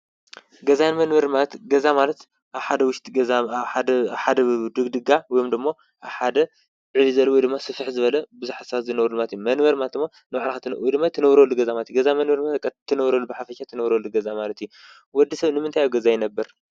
ገዛን መንበርን ማለት ገዛ ማለት ሓደ ውሽት ሓደ ድግድጋ ወምዶሞ ሓደ ዕሊዘለ ወድማ ሥፍሕ ዝበለ ብዙኅሳት ዝነውሩልማቱ መንበርማት እሞ ንውዕራኻትን ወድማይ ትነውረገዛማቲ ገዛመንበርማት ቀእትነውረሉ ብሓፈእት ትነብረል ገዛ ማለት ወዲ ሰብ ንምንታይ ኣብ ገዛ ይነብር?